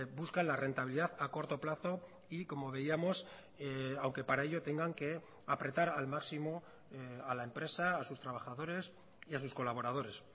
buscan la rentabilidad a corto plazo y como veíamos aunque para ello tengan que apretar al máximo a la empresa a sus trabajadores y a sus colaboradores